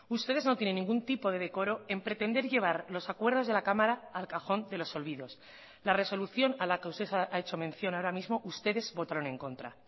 ustedes no tienen ningún tipo de decoro en pretender llevar los acuerdos de la cámara al cajón de los olvidos la resolución a la que usted ha hecho mención ahora mismo ustedes votaron en contra